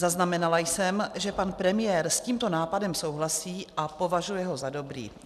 Zaznamenala jsem, že pan premiér s tímto nápadem souhlasí a považuje ho za dobrý.